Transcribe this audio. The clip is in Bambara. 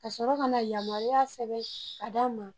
Kasɔrɔ ka na yamaruya sɛbɛn ka d'anw ma